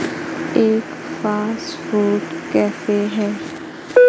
एक fast food cafe है।